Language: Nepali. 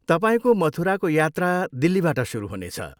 तपाईँको मथुराको यात्रा दिल्लीबाट सुरु हुनेछ।